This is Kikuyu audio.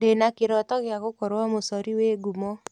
Ndĩna kĩrooto gĩa gũkorwo mũcori wĩ ngumo.